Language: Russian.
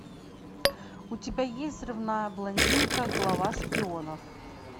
у тебя есть взрывная блондинка глава шпионов